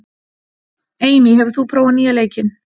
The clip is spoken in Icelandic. Amy, hefur þú prófað nýja leikinn?